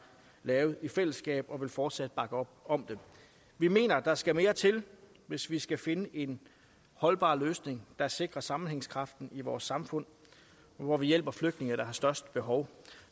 lavet i fællesskab og vi vil fortsat bakke op om dem vi mener at der skal mere til hvis vi skal finde en holdbar løsning der sikrer sammenhængskraften i vores samfund og hvor vi hjælper de flygtninge der har størst behov